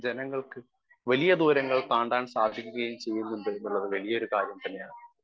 Speaker 1 ജനങ്ങൾക്ക് വലിയ ദൂരങ്ങൾ താണ്ടാൻ സാധിക്കുകയും ചെയ്യുന്നുണ്ടെന്നുള്ളത് വലിയൊരു കാര്യം തന്നെയാണ് .